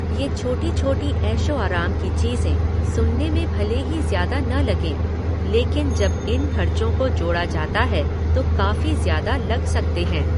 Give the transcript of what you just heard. ये छोटी छोटी ऐशो आराम की चीज़ें सुनने में भले ही ज़्यादा न लगें लेकिन जब इन खर्चों को जोड़ा जाता है तो काफी ज्यादा लग सकते हैं।